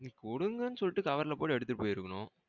நீ குடுங்கன்னு சொல்லிட்டு cover ல போட்டு எடுத்துட்டு போயிருக்கனும்.